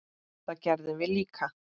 Það gerðum við líka.